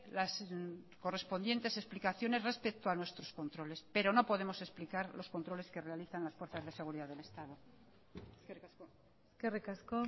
las correspondientes explicaciones respecto a nuestros controles pero no podemos explicar los controles que realizan las fuerzas de seguridad del estado eskerrik asko eskerrik asko